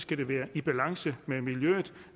det være i balance med miljøet